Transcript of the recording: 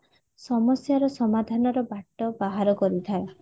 ସମସ୍ଯା ର ସମାଧାନ ର ବାଟ ବାହାର କରୁଥାଏ